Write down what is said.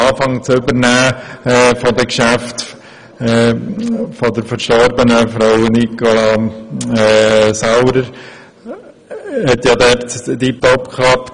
Auch die Übernahme der Geschäfte der verstorbenen Frau Nicola Saurer hat tipptopp geklappt.